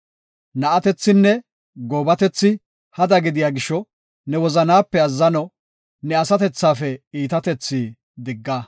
Na7atethinne goobatethi hada gidiya gisho ne wozanaape azzano, ne asatethafe iitatethi digga.